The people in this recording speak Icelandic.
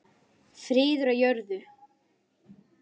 Friður á jörðu.